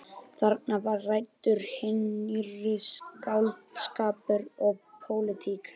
Þarna var ræddur hinn nýrri skáldskapur og pólitík.